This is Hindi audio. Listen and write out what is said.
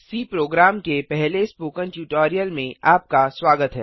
सी प्रोग्राम के पहले स्पोकन ट्यूटोरियल में आपका स्वागत है